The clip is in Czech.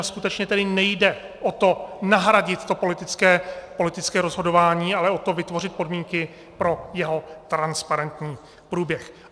A skutečně tedy nejde o to nahradit to politické rozhodování, ale o to vytvořit podmínky pro jeho transparentní průběh.